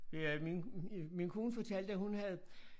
Øh ja min øh min kone fortalte at hun havde